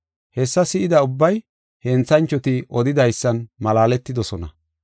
Hessa si7ida ubbay henthanchoti odidaysan malaaletidosona.